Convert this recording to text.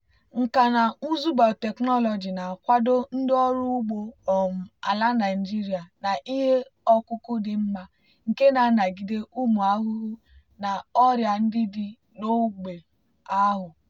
nkà na ụzụ biotechnology na-akwado ndị ọrụ ugbo um ala nigeria na ihe ọkụkụ dị mma nke na-anagide ụmụ ahụhụ na ọrịa ndị dị n'ógbè ahụ.